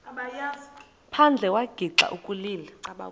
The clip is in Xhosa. phandle wagixa ukulila